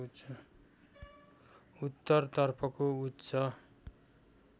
उत्तर तर्फको उच्च